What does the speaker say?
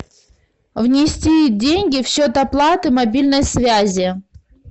внести деньги в счет оплаты мобильной связи